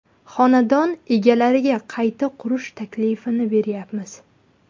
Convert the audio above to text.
Xonadon egalariga qayta qurish taklifini beryapmiz.